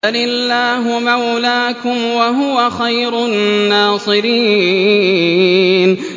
بَلِ اللَّهُ مَوْلَاكُمْ ۖ وَهُوَ خَيْرُ النَّاصِرِينَ